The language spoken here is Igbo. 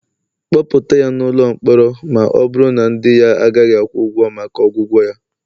kpọpụta ya n'ụlọ mkpọrọ, ma ọ bụrụ na ndị ya agaghị akwụ ụgwọ maka ọgwụgwọ ya